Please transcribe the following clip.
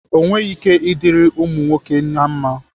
O nwere ike ịdirị ụmụ nwoke na mma?